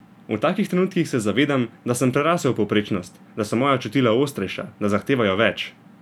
V takih trenutkih se zavedam, da sem prerasel povprečnost, da so moja čutila ostrejša, da zahtevajo več!